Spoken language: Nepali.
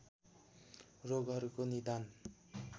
रोगहरूको निदान